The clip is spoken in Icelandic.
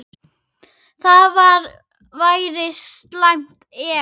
Það væri slæmt, ef